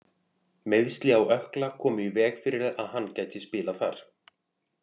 Meiðsli á ökkla komu í veg fyrir að hann gæti spilað þar.